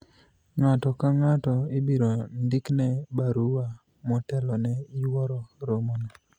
ng'ato ka ng'ato ibiro ndikne barua motelo ne yuoro romo no